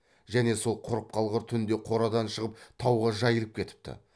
және сол құрып қалғыр түнде қорадан шығып тауға жайылып кетіпті